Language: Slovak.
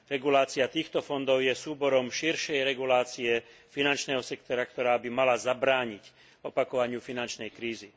Regulácia týchto fondov je súborom širšej regulácie finančného sektora, ktorá by mala zabrániť opakovaniu finančnej krízy.